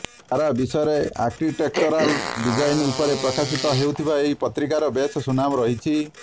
ସାରା ବିଶ୍ବରେ architectural design ଉପରେ ପ୍ରକାଶିତ ହେଉଥିବା ଏହି ପତ୍ରିକାର ବେଶ୍ ସୁନାମ ରହିଛି